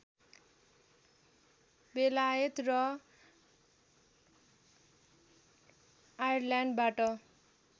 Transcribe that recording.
बेलायत र आयरल्यान्डबाट